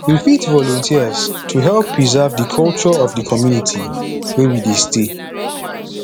we fit volunteers to help preserve di culture of di community wey we dey stay